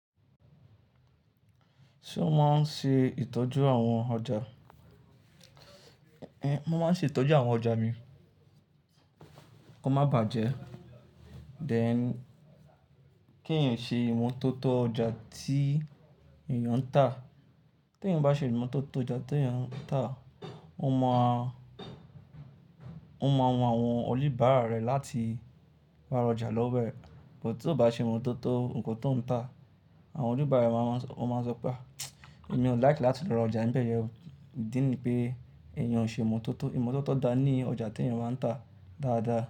Ṣé o máa ń ṣe ìtọ́jú àwọn ọjà? Éh eh, mo máa ń ṣe ìtọ́jú àwọn ọjà mi kó má bàjẹ́. Then, kèèyàn ṣe ìmọ́tótó ọjà tí èèyàn ń tà. Tí èèyàn bá ṣe ìmọ́tótó ọjà tí èèyàn ń tà, ó mọ̀ a, ó mọ àwọn oníbàárà rẹ̀ láti wá ra ọjà lọ́wọ́ ẹ̀. Bút tó bá ṣe ìmọ́tótó ohun tó ń tà, àwọn oníbàárà rẹ̀ máa ń, ó máa sọ pé a, èmi ò like láti lọ ra ọjà níbẹ̀ yẹn o, idí nì pé èèyàn ò ṣe ìmọ́tótó, ìmọ́tótó dá ní ọjà tí èèyàn bá ń tà dáadáa.